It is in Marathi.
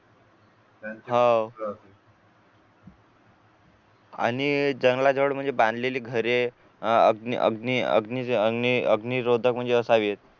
आणि जंगलात जवळ म्हणजे बांधलेली घरे अह अग्नी अग्नी अग्निरोधक म्हणजे असावेत